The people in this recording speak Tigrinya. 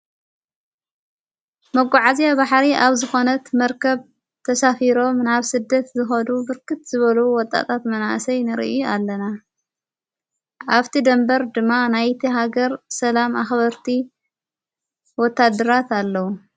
መጕዓእዚ ባሕሪ ኣብ ዝኾነት መርከብ ተሳፊሮም ናብ ሥደት ዝኸዱ ብርክት ዝበሉዉ ወጣጣት መናእሰይ ንርዩ ኣለና ኣብቲ ደንበር ድማ ናይቲ ሃገር ሰላም ኣኽበርቲ ወታደራት ኣለዉ።